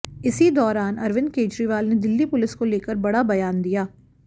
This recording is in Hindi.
इसी दौरान अरविंद केजरीवाल ने दिल्ली पुलिस को लेकर बड़ा बयान दिया